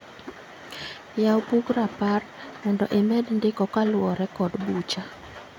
Yaw bug rapar mondo imed ndiko kaluwore kod bucha